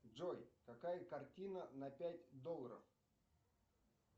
джой какая картина на пять долларов